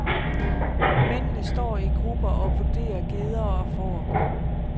Mændene står i grupper og vurderer geder og får.